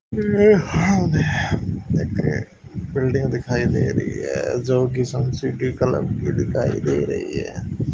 एक बिल्डिंग दिखाई दे रही है जो की सन सिटी कलर की दिखाई दे रही है।